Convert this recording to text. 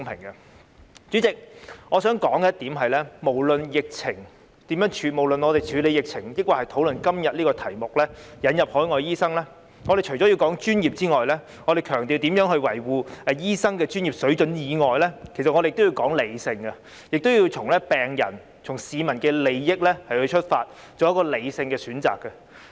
代理主席，我想指出，無論是討論如何處理疫情，抑或今天有關輸入海外醫生這議題，我們除了要說專業及強調如何維護醫生的專業水準外，我們也要說理性，亦要從病人和市民的利益出發，從而作出理性的選擇。